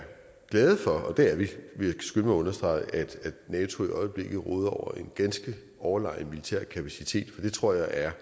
glade for og det er vi vil jeg skynde understrege at nato i øjeblikket råder over en ganske overlegen militær kapacitet for det tror jeg er